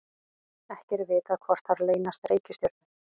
ekki er vitað hvort þar leynast reikistjörnur